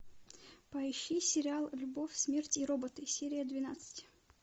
поищи сериал любовь смерть и роботы серия двенадцать